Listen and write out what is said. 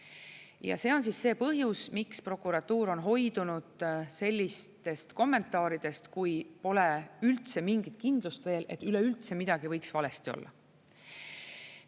Ja see on see põhjus, miks prokuratuur on hoidunud sellistest kommentaaridest, kui pole üldse mingit kindlust veel, et üleüldse midagi võiks valesti olla.